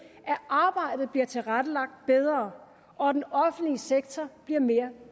at arbejdet bliver tilrettelagt bedre og den offentlige sektor bliver mere